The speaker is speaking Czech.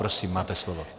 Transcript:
Prosím, máte slovo.